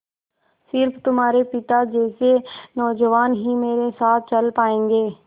स़िर्फ तुम्हारे पिता जैसे नौजवान ही मेरे साथ चल पायेंगे